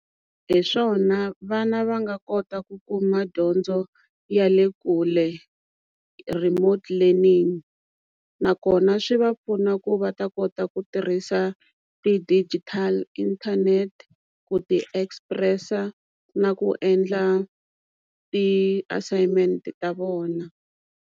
Hi swona vana va nga kota ku kuma dyondzo ya le kule remote learning nakona swi va pfuna ku va ta kota ku tirhisa ti-digital inthanete ku ti-express-a na ku endla ti-assignment ta vona.